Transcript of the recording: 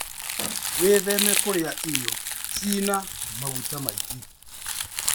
Wĩtheme kũrĩa irio cina maguta maingĩ.